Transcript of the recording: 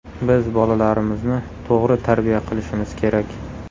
Biz bolalarimizni to‘g‘ri tarbiya qilishimiz kerak.